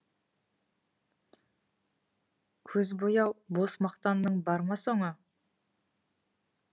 көз бояу бос мақтанның бар ма соңы